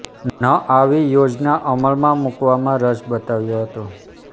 ન આવી પોજના અમલમાં મુકવામાં રસ બતાવ્યો હતો